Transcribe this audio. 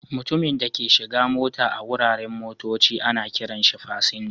Mutumin da ke shigan mota a wuraren motocci ana kiran shi" fasinja".